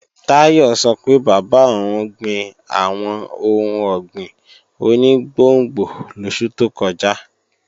Táyọ̀ sọ pé bàbá òun gbin àwọn ohun ọ̀gbìn oní gbòngbò lósù tó kọjá